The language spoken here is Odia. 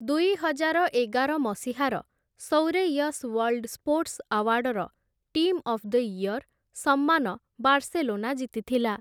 ଦୁଇହଜାର ଏଗାର ମସିହାର ସୌରେୟସ୍ ୱାର୍ଲ୍ଡ ସ୍ପୋର୍ଟ୍ସ ଆୱାର୍ଡ଼ର "ଟିମ୍ ଅଫ୍ ଦ ଇୟର୍" ସମ୍ମାନ ବାର୍ସେଲୋନା ଜିତିଥିଲା ।